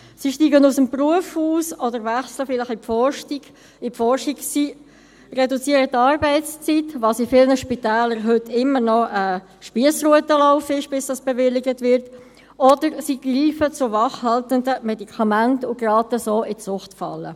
Sie steigen aus dem Beruf aus oder wechseln vielleicht in die Forschung, sie reduzieren die Arbeitszeit – was in vielen Spitälern heute immer noch ein Spiessrutenlauf ist, bis es bewilligt wird – oder greifen zu wachhaltenden Medikamenten und geraten so in die Suchtfalle.